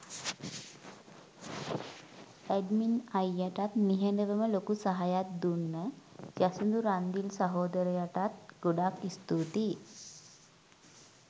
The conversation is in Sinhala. ඇඩ්මින් අයියටත් නිහඬවම ලොකු සහයක් දුන්න යසිදු රන්දිල් සහෝදරයටත් ගොඩක් ස්තූතියි